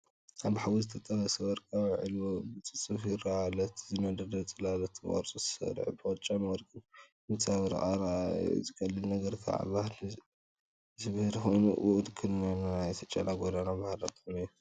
እቲ ኣብ ሓዊ ዝተጠበሰ ወርቃዊ ዒልዎ ብጽፉፍ ይረአ ኣሎ። እቲ ዝነደደ ጽላሎት ብቕርጺ ተሰሪዑ ብጫን ወርቅን ይንጸባረቕ። እዚ ኣረኣእያ እዚ ቀሊል ግን ከኣ ባህ ዘብል ኮይኑ፡ ውክልና ናይቲ ጨና ጎደና ዝኾነ ባህላዊ ጣዕሚ እዩ።